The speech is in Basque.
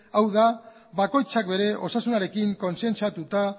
hau da bakoitzak bere osasunarekin kontzientziatuta